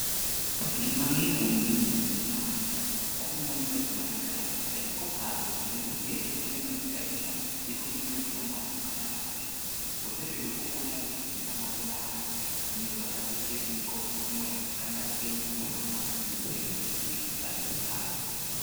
Gimang'e kuom gini en niya ong'iyo ng'wech mar gari gari kokalo kuma entiere oneno ni gari no ringo gi ng'wech mamalo kata mapiny. Osebedo kokonyo apisa mag ndara ng'iyo kaka ng'wech kata piny mondo omak gi otergi e chik ka gikalo chik.